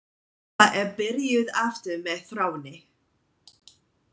Eva er byrjuð aftur með Þráni.